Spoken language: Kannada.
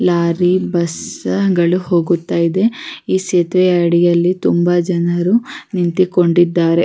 ಲಾರಿ ಬಸ್ಗಳು ಹೋಗುತ್ತಾ ಇದೆ ಈ ಸೇತುವೆಯಾ ಅಡಿಯಲ್ಲಿ ತುಂಬ ಜನರು ನಿಂತಿಕೊಂಡಿದ್ದಾರೆ.